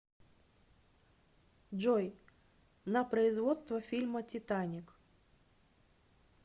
джой на производство фильма титаник